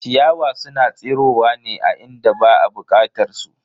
Ciyawa suna tsirowa ne a inda ba a bukatar su.